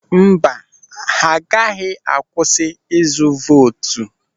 Mba, ha agaghị akwụsị izu vootu.